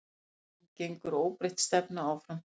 En gengur óbreytt stefna áfram?